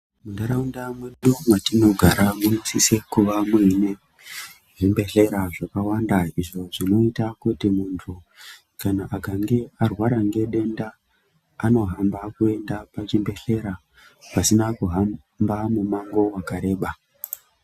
Muntaraunda mwedu matinogara munosisa kuva muine zvibhedhlera zvakawanda. Izvo zvinoita kuti muntu kana akange arwara ngedenda anohamba kuenda pachibhedhlera pasina kuhamba mumango vakareba.